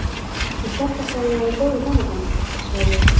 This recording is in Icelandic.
Ég hélt alltaf að ég væri í góðu hjónabandi- sagði